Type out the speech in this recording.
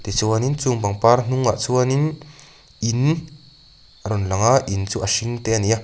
tichuanin chung pangpar hnung ah chuanin in a rawn lang a in chu a hring te ani a.